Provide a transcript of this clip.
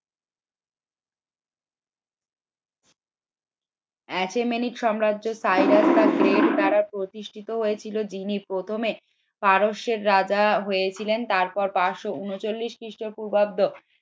দ্বারা প্রতিষ্ঠিত হয়েছিল যিনি প্রথমে পারস্যের রাজা হয়েছিলেন তারপর পাঁচশ উনচললিস খ্রিস্টপূর্বাব্দ